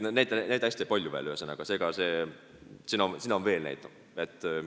Neid näiteid on hästi palju.